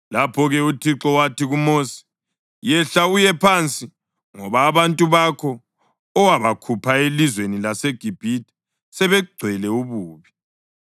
Lapho-ke uThixo wathi kuMosi, “Yehla uye phansi ngoba abantu bakho owabakhupha elizweni laseGibhithe sebegcwele ububi.